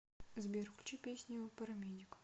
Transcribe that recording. сбер включи песню парамедик